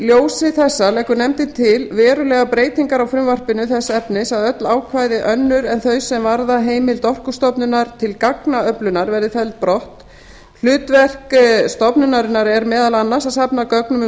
í ljósi þessa leggur nefndin til verulegar breytingar á frumvarpinu þess efnis að öll ákvæði önnur en þau sem varða heimild orkustofnunar til gagnaöflunar verði felld brott hlutverk stofnunarinnar er meðal annars að safna gögnum um